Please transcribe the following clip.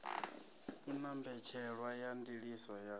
una mbetshelwa ya ndiliso ya